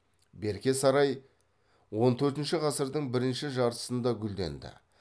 берке сарай он төртінші ғасырдың бірінші жартысында гүлденді